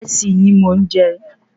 Ìresì ni mò n jẹ